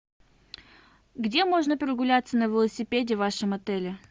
где можно прогуляться на велосипеде в вашем отеле